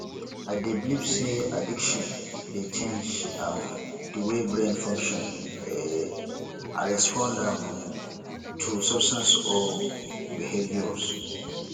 i dey believe say addiction dey change um di way brain function um and respond um to substances or behaviours